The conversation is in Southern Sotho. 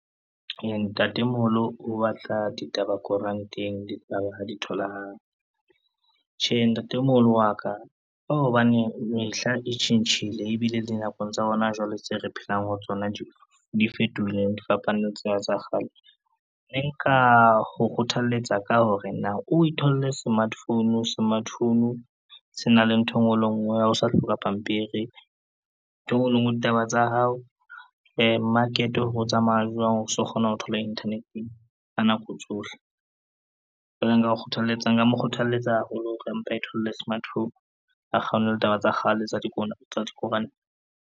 Ntatemoholo o batla ditaba koranteng di ha di tholahale. Tjhe, ntatemoholo wa ka, ko hobane mehla e tjhentjhile ebile di nakong tsa hona jwale tse re phelang ho tsona di fetohile di fapane tsena tsa kgale. Ne nka ho kgothalletsa ka hore na o itholle smart phone, smart phone se na le ntho e ngwe le e ngwe ha o sa hloka pampiri, ntho e ngwe le e ngwe ditaba tsa hao market o tsamaya jwang o so kgona ho thola internet-eng ka nako tsohle. Jwale nka mo kgothaletsa e le hore a mpe a itholle smartphone a kgawane le taba tsa kgale tsa dikoranta.